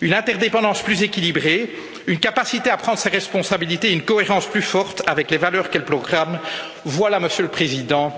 Une interdépendance plus équilibrée, une capacité à prendre ses responsabilités et une cohérence plus forte avec les valeurs qu'elle proclame, voilà, Monsieur le Président,